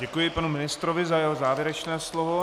Děkuji panu ministrovi za jeho závěrečné slovo.